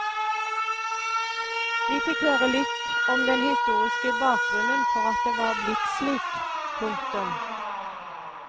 Vi fikk høre litt om den historiske bakgrunnen for at det var blitt slik. punktum